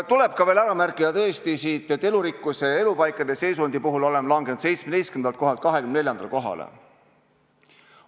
Tuleb veel ära märkida, et elurikkuse ja elupaikade seisundi puhul oleme langenud 17. kohalt 24. kohale.